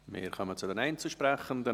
Wir kommen zu den Einzelsprechenden;